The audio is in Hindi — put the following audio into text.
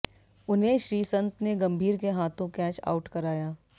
उन्हें श्रीसंत ने गंभीर के हाथों कैच आउट कराया